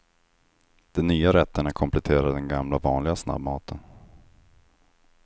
De nya rätterna kompletterar den gamla vanliga snabbmaten.